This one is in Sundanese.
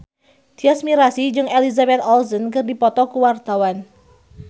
Tyas Mirasih jeung Elizabeth Olsen keur dipoto ku wartawan